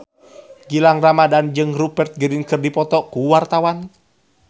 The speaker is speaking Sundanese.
Gilang Ramadan jeung Rupert Grin keur dipoto ku wartawan